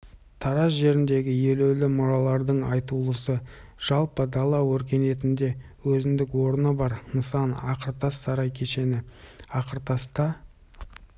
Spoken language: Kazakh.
тараз жеріндегі елеулі мұралардың айтулысы жалпы дала өркениетінде өзіндік орны бар нысан ақыртас сарай кешені ақыртаста